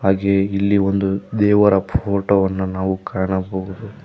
ಹಾಗೆ ಇಲ್ಲಿ ಒಂದು ದೇವರ ಫೋಟೋ ವನ್ನ ನಾವು ಕಾಣಬಹುದು.